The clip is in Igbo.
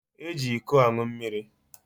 Eji ịkọ aṅụ mmiri.